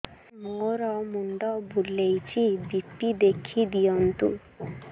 ମୋର ମୁଣ୍ଡ ବୁଲେଛି ବି.ପି ଦେଖି ଦିଅନ୍ତୁ